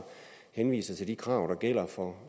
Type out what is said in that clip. henviser til de krav der gælder for